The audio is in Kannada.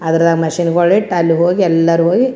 ಅದ್ರಗ ಮಷಿನ್ ಗಳ್ ಇಟ್ಟು ಅಲ್ಲ ಹೋಗಿ ಎಲ್ಲರು ಹೋಗಿ --